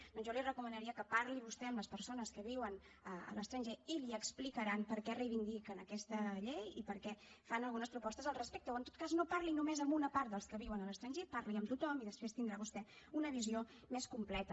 doncs jo li recomanaria que parli vostè amb les persones que viuen a l’estranger i li explicaran per què reivindiquen aquesta llei i per què fan algunes propostes al respecte o en tot cas no parli només amb una part dels que viuen a l’estranger parli amb tothom i després tindrà vostè una visió més completa